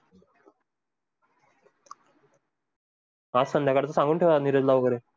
आज संध्याकाळी सांगून ठेवा निरज ला वगैरे.